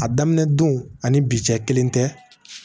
A daminɛ don ani bi cɛ kelen tɛ